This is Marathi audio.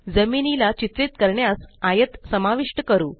जमिनीला चित्रित करण्यास आयत समाविष्ट करू